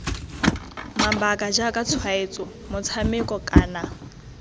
mabaka jaaka tshwaetso motshameko kana